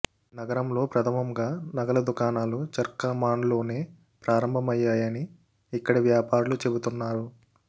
నగరంలో ప్రథమంగా నగల దుకాణాలు చార్కమాన్లోనే ప్రారంభమయ్యాయని ఇక్కడి వ్యాపారులు చెబుతున్నారు